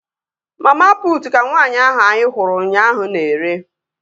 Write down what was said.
Mama putu ka nwaanyị ahụ anyị hụrụ ụnyaahụ na-ere